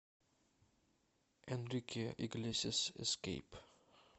энрике иглесиас эскейп